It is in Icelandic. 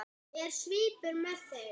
Er svipur með þeim?